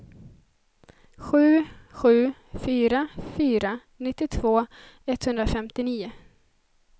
sju sju fyra fyra nittiotvå etthundrafemtionio